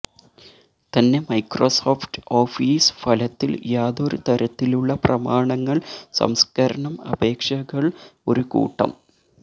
തന്നെ Microsoft Office ഫലത്തിൽ യാതൊരു തരത്തിലുള്ള പ്രമാണങ്ങൾ സംസ്കരണം അപേക്ഷകൾ ഒരു കൂട്ടം